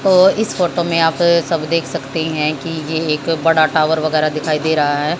और इस फोटो में यहां पे सब देख सकते हैं कि एक बड़ा टावर वगैरा दिखाई दे रहा है।